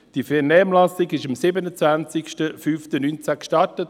Die Vernehmlassung wurde am 27.05.2019 gestartet.